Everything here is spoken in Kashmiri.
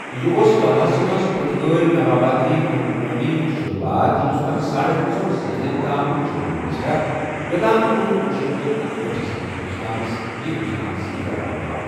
یہِ اوس گواہس منٛز پرتگٲلۍ نوآبادیٲتی حکمرٲنی ہُنٛد شروٗعات یُس پتہٕ ساڑن ژۄن صٔدین تام جٲری روزِہاو، یوٚتام کُنوُہ شیتھ تہٕ اکہأٹھس منٛز ہندوستانس یہِ ہندوستانس سۭتۍ رلاونہٕ آو ۔